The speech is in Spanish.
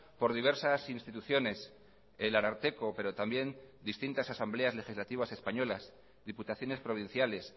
por diversas instituciones el ararteko pero también distintas asambleas legislativas españolas diputaciones provinciales